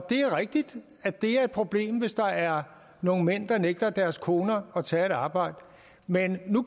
det rigtigt at det er et problem hvis der er nogle mænd der nægter deres koner at tage et arbejde men nu